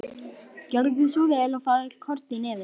Gjörðu svo vel og fáðu þér korn í nefið.